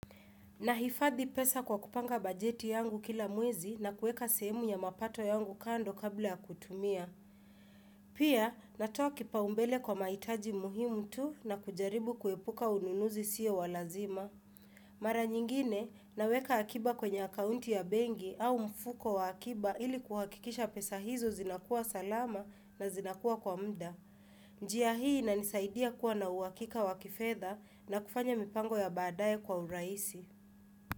Nahifadhi pesa kwa kupanga bajeti yangu kila mwezi na kuweka sehemu ya mapato yangu kando kabla ya kutumia. Pia natoa kipa umbele kwa maitaji muhimu tu na kujaribu kuepuka ununuzi siyo walazima. Mara nyingine naweka akiba kwenye akaunti ya bengi au mfuko wa akiba ili kuhakikisha pesa hizo zinakuwa salama na zinakuwa kwa mda. Njia hii inaninisaidia kuwa na uhakika wakifedha na kufanya mipango ya baadaye kwa urahisi.